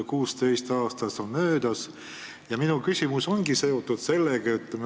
16 aastat on möödas ja minu küsimus ongi seotud sellega.